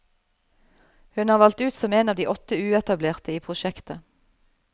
Hun er valgt ut som en av de åtte uetablerte i prosjektet.